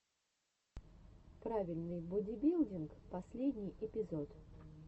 правильный бодибилдинг последний эпизод